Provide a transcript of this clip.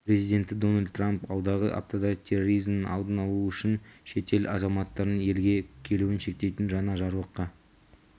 президенті дональд трамп алдағы аптада терроризмнің алдын алу үшін шетел азаматтарының елге келуін шектейтін жаңа жарлыққа